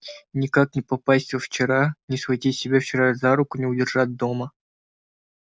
никак не попасть во вчера не схватить себя вчерп за руку не удержать дома